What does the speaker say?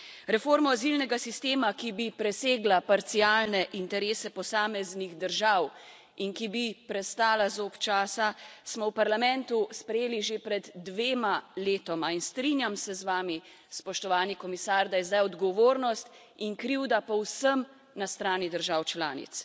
Reformo azilnega sistema, ki bi presegla parcialne interese posameznih držav in ki bi prestala zob časa, smo v Parlamentu sprejeli že pred dvema letoma in strinjam se z vami, spoštovani komisar, da je zdaj odgovornost in krivda povsem na strani držav članic.